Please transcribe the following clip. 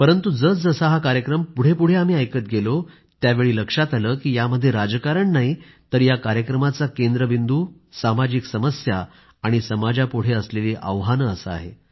परंतु जसं जसं हा कार्यक्रम पुढे पुढे आम्ही ऐकत गेलो त्यावेळी लक्षात आले की यामध्ये राजकारण नाही तर या कार्यक्रमाचा केंद्रबिंदू सामाजिक समस्या आणि समाजापुढे असलेली आव्हाने असा आहे